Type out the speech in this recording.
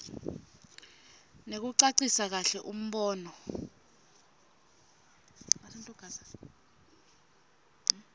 nekucacisa kahle umbono